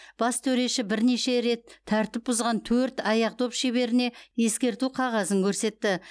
бас төреші бірнеше рет тәртіп бұзған төрт аяқ доп шеберіне ескерту қағазын көрсетті